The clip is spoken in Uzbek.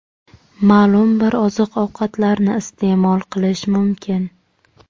Ma’lum bir oziq-ovqatlarni iste’mol qilish mumkin.